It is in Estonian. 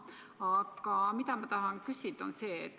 Aga ma tahan küsida seda.